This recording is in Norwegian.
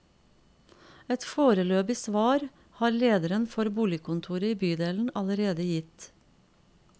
Et foreløpig svar har lederen for boligkontoret i bydelen allerede gitt.